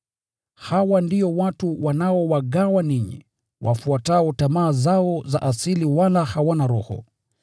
Hawa ndio watu wanaowagawa ninyi, wafuatao tamaa zao za asili, wala hawana Roho.